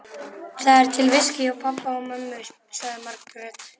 Það er til viskí hjá pabba og mömmu, sagði Margrét.